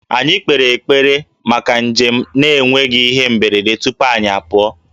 Anyị kpere ekpere maka njem na-enweghị ihe mberede tupu anyị apụọ